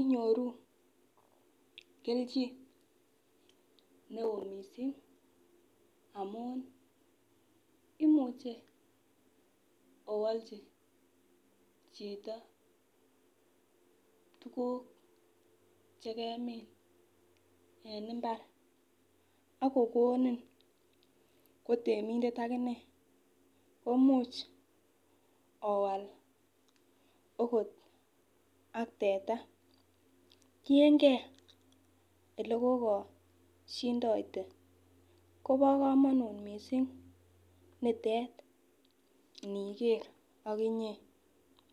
inyoru keljin neo missing amun imuche owolji chito tukuk chekemin en imbar ak kokonin ko temindet akinee komuch owal okot ak teta, tiyengee ilekokoshindote Kobo komonut missing nitet niger okinye.